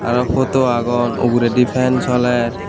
aro photo agon uguredi fan soler.